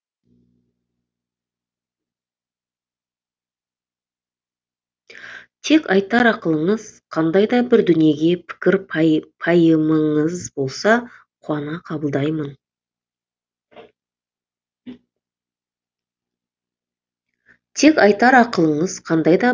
тек айтар ақылыңыз қандай да бір дүниеге пікір пайымыңыз болса қуана қабылдаймын